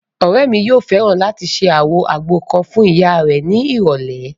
Ọ̀rẹ́ mi yóò fẹ́ràn láti ṣe àwọn àgbo kan fún ìyá rẹ̀ ní ìrọ̀lẹ̀